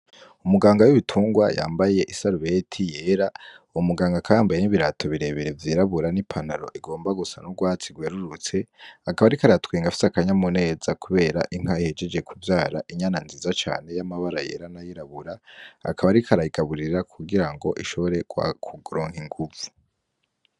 Umuganga w’ibitungwa yambaye isarubeti yera, uwo muganga akaba yambaye n'ibirato bire bire vy'irabura n'ipantaro igomba gusa n'urwatsi rwerurutse. Akaba ariko aratwenga afise akanyamuneza kubera inka ihejeje kuvyara inyana nziza cane y'amabara yera n'ayirabura, akaba ariko arayigaburira kugira ngo ishobore kuronka inguvu.